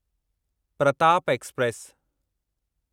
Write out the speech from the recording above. Pratap express